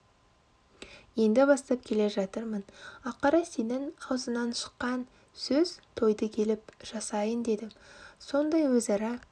енді бастап келе жатырмын ақыры сенің аузыңнан шыққан сөз тойды келіп жасайын дедім сондай өзара